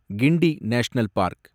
Guindy national park